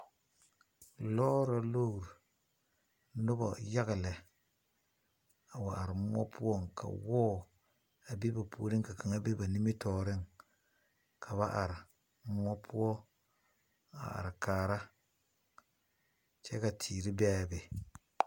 Lɔɔre la tuo noba yaga lɛ a wa are muɔ pʋɔ ka wɔɔ be o niŋeŋ ka kaŋ be o nimitɔɔreŋ. Ba are kaara la a wɔɔre kyɛ ka tiire be a be.